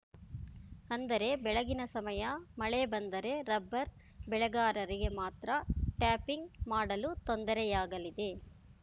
ಅಂದರೆ ಬೆಳಗಿನ ಸಮಯ ಮಳೆ ಬಂದರೆ ರಬ್ಬರ್‌ ಬೆಳೆಗಾರರಿಗೆ ಮಾತ್ರ ಟ್ಯಾಪಿಂಗ್‌ ಮಾಡಲು ತೊಂದರೆಯಾಗಲಿದೆ